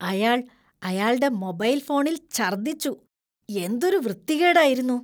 അയാൾ അയാൾടെ മൊബൈൽ ഫോണിൽ ഛർദ്ദിച്ചു. എന്തൊരു വൃത്തികേടായിരുന്നു.